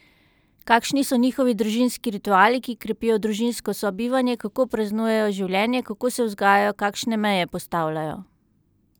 Kakšni so njihovi družinski rituali, ki krepijo družinsko sobivanje, kako praznujejo življenje, kako se vzgajajo, kakšne meje postavljajo?